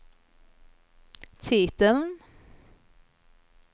titeln